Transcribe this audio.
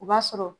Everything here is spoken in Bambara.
O b'a sɔrɔ